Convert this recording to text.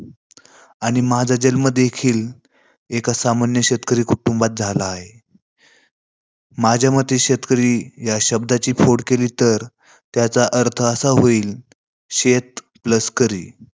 आणि माझा जन्म देखील एक सामान्य शेतकरी कुटुंबात झाला आहे. माझ्या मते शेतकरी या शब्दाची फोड केली, तर त्याचा अर्थ असा होईल शेत plus करी